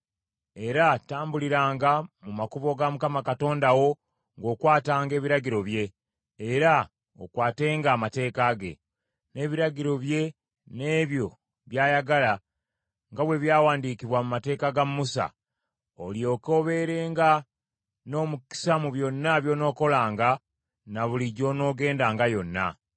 era tambuliranga mu makubo ga Mukama Katonda wo ng’okwatanga ebiragiro bye, era okwatenga amateeka ge, n’ebiragiro bye n’ebyo by’ayagala, nga bwe byawandiikibwa mu mateeka ga Musa, olyoke obeerenga n’omukisa mu byonna by’onookolanga na buli gy’onoogendanga yonna.